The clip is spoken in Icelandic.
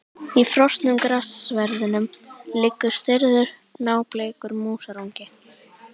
Í frosnum grassverðinum liggur stirður, nábleikur músarungi.